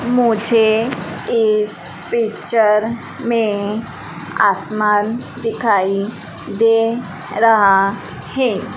मुझे इस पिक्चर में आसमान दिखाई दे रहा हैं।